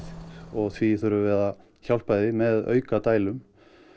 og því þurfum við að hjálpa þeim með auka dælum